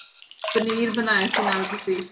ਪਨੀਰ ਬਣਾਇਆ ਸੀ ਨਾਲ ਤੁਸੀਂ